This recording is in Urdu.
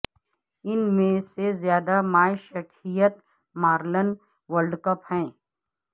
ان میں سب سے زیادہ مائشٹھیت مارلن ورلڈ کپ ہے